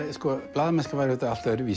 blaðamennska var auðvitað allt öðruvísi